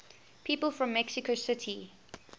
people from mexico city